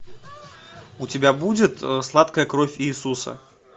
у тебя будет сладкая кровь иисуса